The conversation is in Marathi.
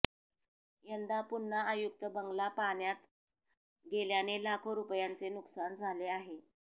यंदा पुन्हा आयुक्त बंगला पाण्यात गेल्याने लाखो रुपयांचे नुकसान झाले आहे